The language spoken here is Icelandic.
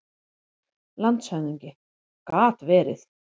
LANDSHÖFÐINGI: Gat verið.